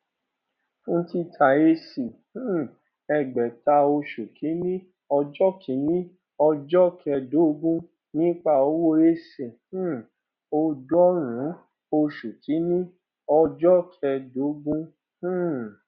fún títà ac um ẹgbèta oṣù kìíní ọjọ kìíní ọjọ kẹẹdógún nípa owó ac um ọọdúnrún oṣù kìíní ọjọ kẹẹdógún um